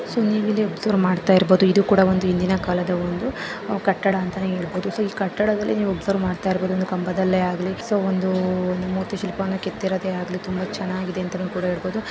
So ಇಲ್ಲಿ observe ಮಾಡ್ತಾ ಇರಬಹುದು ಇದು ಕೂಡ ಒಂದು ಹಿಂದಿನ ಕಾಲದ ಕಟ್ಟಡ ಅಂತ ಹೇಳುವುದು ಸೋ ಈ ಕಟ್ಟಡದಲ್ಲಿ ನೀವು ಅಬ್ಸರ್ವ್ ಮಾಡ್ತಾ ಇರಬಹುದು. ಈ ಕಂಬದಲ್ಲೇ ಆಗ್ಲಿ ಒಂದು ಮೂರ್ತಿ ಮೂರ್ತಿ ಶಿಲ್ಪನ ಕೆತ್ತಿರೋದೆ ಆಗ್ಲಿ ತುಂಬಾ ಚೆನ್ನಾಗಿದೆ .ಅಂತ ಕೂಡ ಹೇಳಬಹುದು.